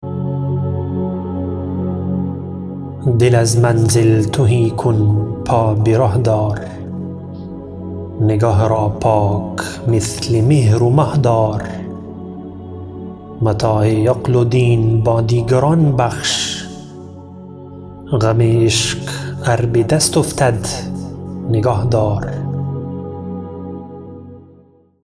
دل از منزل تهی کن پا بره دار نگه را پاک مثل مهر و مه دار متاع عقل و دین با دیگران بخش غم عشق ار بدست افتد نگه دار